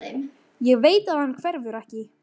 Ég veit að hann hverfur ekki.